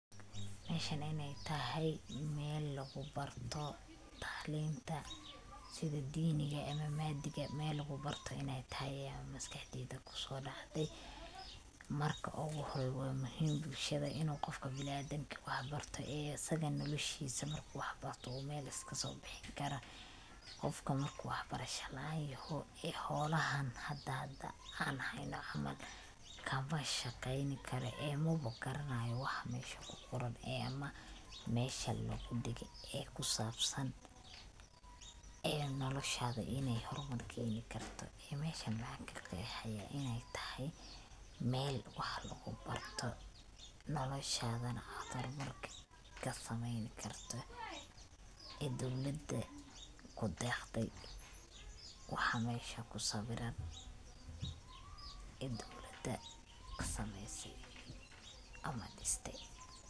Meshan inay tahay Mel lugu barto taclinta sidi diniga ama maadiga Mel lugu barto inay tahay aya maskaxdeyda kuso dhacde, marka ogu hore waa muhim bulshada inu qofka bini adamka uu wax barto ee asaga noloshiisa marku wax barto uu Mel iskaso bixin kara, qofka marku wax barasha laan yoho ee howlahan hada an hayno camal kama shaqeyni karo oo magaranayo. waxa mesha kuqoran ama mesha lugu dhige ee kusabsan ee noloshada inay hormar keeni karto iyo meshan waxan kaqeexi haya inay tahay mel wax lugu ,barto noloshadana ad hormar kasameeyni karto ee dowlada kudeqde waxa mesha kusabiran inta dowlada kusameeyse ama dhiste